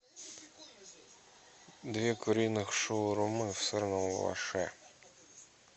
две куриных шаурмы в сырном лаваше